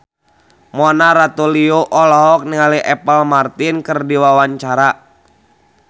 Mona Ratuliu olohok ningali Apple Martin keur diwawancara